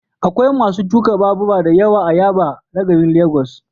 Akwai masu tuka babura da yawa a Yaba na garin Legas.